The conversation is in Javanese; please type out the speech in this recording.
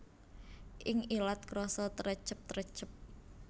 Ing ilat krasa trecep trecep